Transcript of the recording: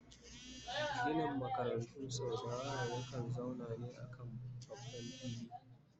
Ginin makarantu sau dayawa ya kan zauna ne a kan babban fili